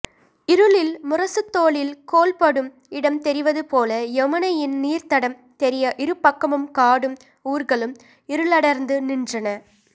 இருளில் முரசுத்தோலில் கோல்படும் இடம் தெரிவதுபோல யமுனையின் நீர்த்தடம் தெரிய இருபக்கமும் காடும் ஊர்களும் இருளடர்ந்து நின்றன